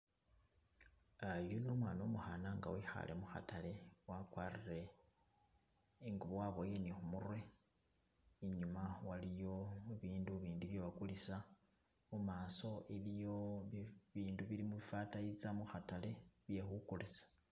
Yuno umwana umukhana nga wikhale mukhatale wagwarile ingubo wabowele ni khu murwe inyuma waliyo bibindu bindi byebagulisa mumaso iliyo bibindu bili mu fataiza mukhatale bye khugulisa.